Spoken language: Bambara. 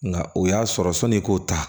Nka o y'a sɔrɔ sɔni k'o ta